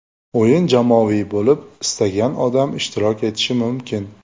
O‘yin jamoaviy bo‘lib, istagan odam ishtirok etishi mumkin.